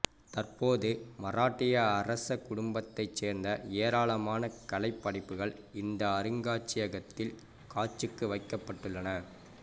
தற்போது மராட்டிய அரச குடும்பத்தைச் சேர்ந்த ஏராளமான கலைப் படைப்புகள் இந்த அருங்காட்சியகத்தில் காட்சிக்கு வைக்கப்பட்டுள்ளன